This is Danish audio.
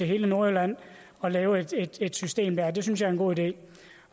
hele nordjylland og lave et system der det synes jeg en god idé